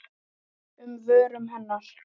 um vörum hennar.